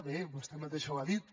bé vostè mateixa ho ha dit